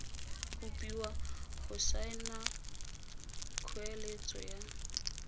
kopiwa go saena kgoeletso ya